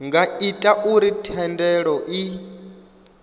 nga ita uri thendelo i